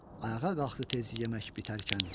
Ayağa qalxdı tez yemək bitərkən.